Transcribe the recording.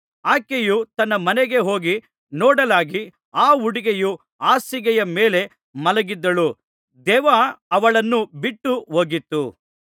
ಆಕೆಯು ತನ್ನ ಮನೆಗೆ ಹೋಗಿ ನೋಡಲಾಗಿ ಆ ಹುಡುಗಿಯು ಹಾಸಿಗೆಯ ಮೇಲೆ ಮಲಗಿದ್ದಳು ದೆವ್ವ ಅವಳನ್ನು ಬಿಟ್ಟು ಹೋಗಿತ್ತು